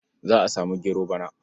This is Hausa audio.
Za a samu gero bana.